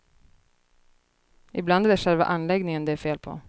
Ibland är det själva anläggningen det är fel på.